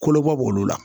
Kolobɔ b'olu la